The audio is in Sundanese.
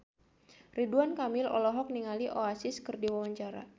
Ridwan Kamil olohok ningali Oasis keur diwawancara